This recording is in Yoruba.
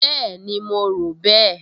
Bẹ́ẹ̀ni, mo rò bẹ́ẹ̀